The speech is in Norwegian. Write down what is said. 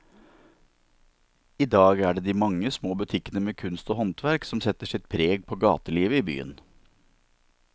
I dag er det de mange små butikkene med kunst og håndverk som setter sitt preg på gatelivet i byen.